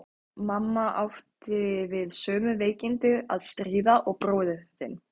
Mamma átti við sömu veikindi að stríða og bróðir þinn.